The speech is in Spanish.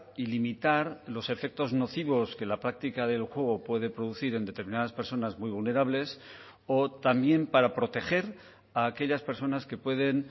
y limitar los efectos nocivos que la práctica del juego puede producir en determinadas personas muy vulnerables o también para proteger a aquellas personas que pueden